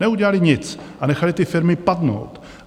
Neudělali nic a nechali ty firmy padnout.